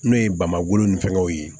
N'o ye bamakɔ ni fɛngɛw ye